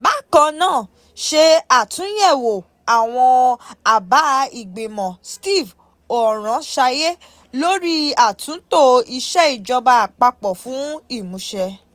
Bákan náà, ṣe àtúnyẹ̀wò àwọn àbá ìgbìmọ̀ Steve Oronsaye lórí àtúntò Iṣẹ́ Ìjọba Àpapọ̀ fún ìmúṣẹ.